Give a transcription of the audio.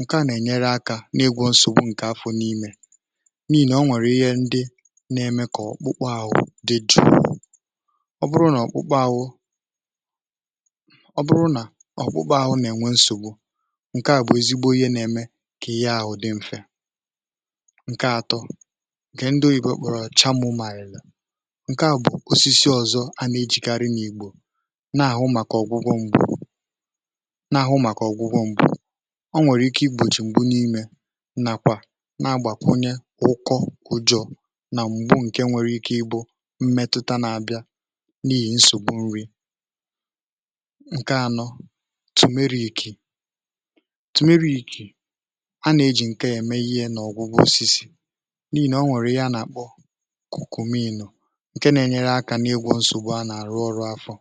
ǹke à nà-ènyere akȧ n’egwù nsògbu ǹkè afọ̀ n’imė n’ihì nà o nwèrè ihe ndị na-eme kà ọkpụkpụ ȧụ̀ dị jụụ ọ bụrụ nà ọkpụkpụ ȧụ̀ um ọ bụrụ nà ọkpụkpụ ȧụ̀ nà-ènwe nsògbu kà ihe ahụ̀ dị mfe ǹke àtọ kà ndị oyìbo kpọ̀rọ̀ chamù mà ìlè ǹke à bụ̀ osisi ọ̀zọ a na-ejìkarị nà igbò na-àhụ màkà ọ̀gwụgwọ m̀gbè na-àhụ màkà ọ̀gwụgwọ m̀gbè ọ nwèrè ike igbòchì m̀gbù n’imė nà kwà nà-agbàkwunye ụkọ ụjọ̇ nà m̀gbù ǹke nwere ike igbò mmetụta na-abịa n’ihì nsògbu nri ǹke anọ tùmeriìkì a nà-ejì ǹkè emeghị ihe n’ọ̀gwụgwụ osisi n’ihì nà ọ nwèrè ya nà-àkpọ okùmiìlù ǹkè nà-enyere akȧ n’ego ǹsògbù a nà-àrụ ọrụ afọ̇.